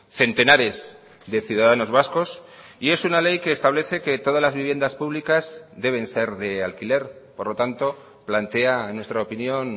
centenares de ciudadanos vascos y es una ley que establece que todas las viviendas públicas deben ser de alquiler por lo tanto plantea en nuestra opinión